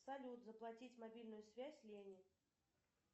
салют заплатить мобильную связь лене